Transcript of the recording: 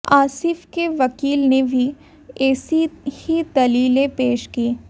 आसिफ के वकील ने भी ऐसी ही दलीलें पेश कीं